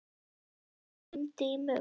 Guðfríður, hringdu í Mugg.